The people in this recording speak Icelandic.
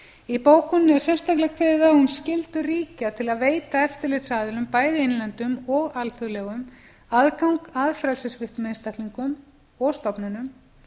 í bókuninni er sérstaklega kveðið á um skyldur ríkja til að veita eftirlitsaðilum bæði innlendum og alþjóðlegum aðgang að frelsissviptum einstaklingum og stofnunum